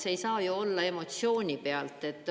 See ei saa ju olla emotsiooni pealt.